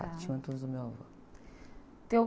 Tinha o do meu avô.